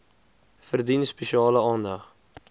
verdien spesiale aandag